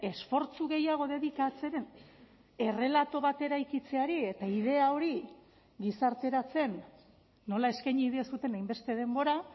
esfortzu gehiago dedikatzeren errelato bat eraikitzeari eta idea hori gizarteratzen nola eskaini diezuen hainbeste denbora